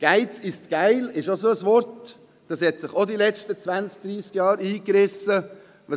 «Geiz ist geil» ist auch so ein Sprichwort, welches sich in den letzten zwanzig, dreissig Jahren durchgesetzt hat.